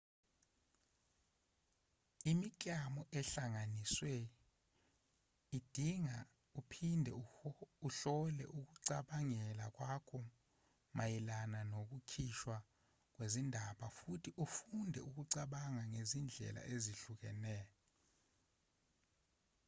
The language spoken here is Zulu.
imiklamo ehlanganisiwe idinga uphinde uhlole ukucabangela kwakho mayelana nokukhishwa kwezindaba futhi ufunde ukucabanga ngezindlela ezihlukahlukene